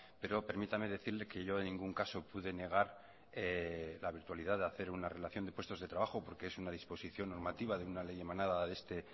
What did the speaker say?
pero permítame decirle que yo en ningún caso pude negar la virtualidad de hacer una relación de puestos de trabajo porque es una disposición normativa de una ley emanada de este